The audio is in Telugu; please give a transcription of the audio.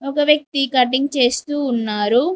ఒక వ్యక్తి కటింగ్ చేస్తూ ఉన్నారు.